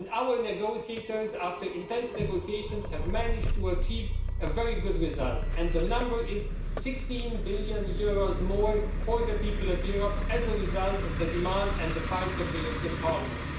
And our negotiators, after intense negotiations, have managed to achieve a very good result, and the number is EUR 16 billion more for the people of Europe as a result of the demands and the fight of the European Parliament.